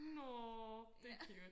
nåå det cute